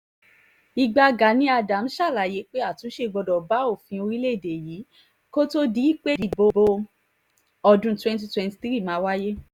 ibà gani adams ṣàlàyé pé àtúnṣe gbọ́dọ̀ bá òfin orílẹ̀‐èdè yìí kó tóó di pé ìdìbò ọdún cs] twenty twenty three máa wáyé